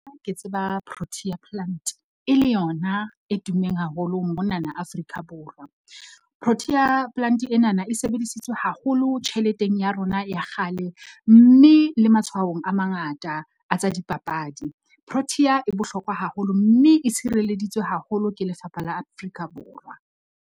Ke tseba Protea plant e le yona e tummeng haholo monana Afrika Borwa. Protea plant enana e sebedisitswe haholo tjheleteng ya rona ya kgale, mme le matshwaong a mangata a tsa dipapadi. Protea e bohlokwa haholo, mme e tshireleditswe haholo ke lefapha la Afrika Borwa.